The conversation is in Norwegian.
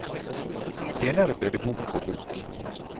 Senere ble det bok på bok.